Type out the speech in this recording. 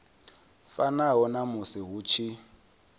fanaho na musi hu tshi